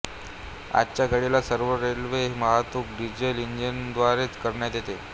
आजच्या घडीला सर्व रेल्वे वाहतूक डिझेल इंजिनांद्वारेच करण्यात येते